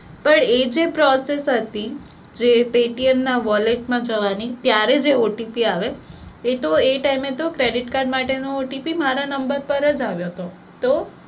પણ એજે process હતી જે paytm ના wallet માં જવાની ત્યારે જે OTP આવે એતો એ time એ તો credit card માટે નો OTP મારા number પર આવ્યો હતો તો